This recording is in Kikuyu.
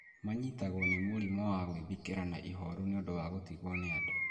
Manyitagwo nĩ mũrimũ wa gwĩthikĩra na ihooru nĩ ũndũ wa gũtigwo nĩ andũ.